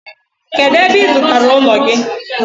Kedu ebe ị zụtara ụlọ gị?